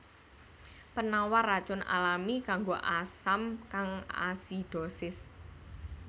Penawar racun alami kanggo asam kang asidosis